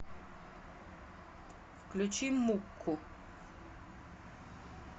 включи мукку